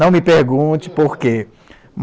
Não me pergunte por quê.